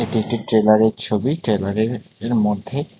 এটি একটি ট্রেলারের ছবি ট্রেলারের এর মধ্যে--